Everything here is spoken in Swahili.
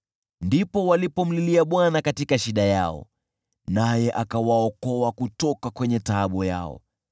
Ndipo walipomlilia Bwana katika shida yao, naye akawaokoa kutoka taabu yao.